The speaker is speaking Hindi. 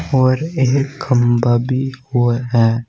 और एक खंभा भी वो है।